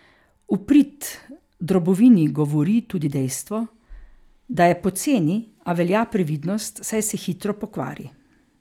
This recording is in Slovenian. V prid drobovini govori tudi dejstvo, da je poceni, a velja previdnost, saj se hitro pokvari.